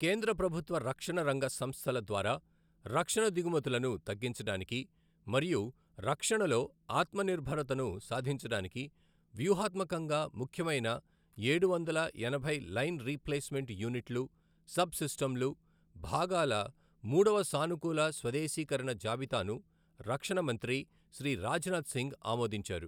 కేంద్ర ప్రభుత్వ రక్షణ రంగ సంస్థల ద్వారా రక్షణ దిగుమతులను తగ్గించడానికి మరియు రక్షణలో ఆత్మనిర్భర్తత ను సాధించడానికి వ్యూహాత్మకంగా ముఖ్యమైన ఏడువందల ఎనభై లైన్ రీప్లేస్మెంట్ యూనిట్లు సబ్ సిస్టమ్లు భాగాల మూడవ సానుకూల స్వదేశీకరణ జాబితాను రక్షణ మంత్రి శ్రీ రాజ్నాథ్ సింగ్ ఆమోదించారు.